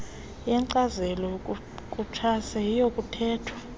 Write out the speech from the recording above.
yenkcazelo yakutshanje kuyakuthathwa